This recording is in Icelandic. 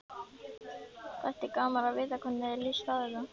Þætti gaman að vita hvernig þér líst á þetta?